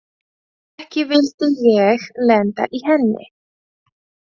Ekki vildi ég lenda í henni!